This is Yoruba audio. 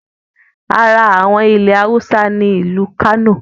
Ara àwọn ilẹ̀ Awúsá ni ìlú Kánò